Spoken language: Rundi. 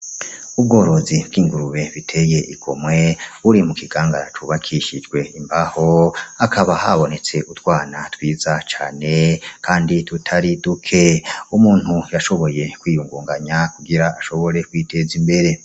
Ubworozi bw'ingurube biteye igomwe buri mu kigangana cubakishijwe imbaho akaba habonetse utwana twiza cane, kandi tutari duke umuntu yashoboye kwiyungunganya kugira ashobore kwiteza imbere.